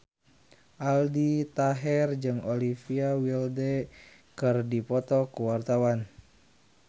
Aldi Taher jeung Olivia Wilde keur dipoto ku wartawan